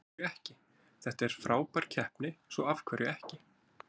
Af hverju ekki, þetta er frábær keppni svo af hverju ekki?